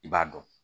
I b'a dɔn